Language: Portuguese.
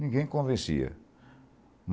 Ninguém convencia.